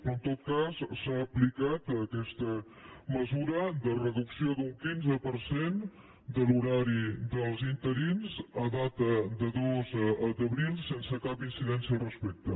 però en tot cas s’ha aplicat aquesta mesura de reducció d’un quinze per cent de l’horari dels interins a data de dos d’abril sense cap incidència al respecte